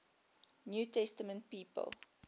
new testament people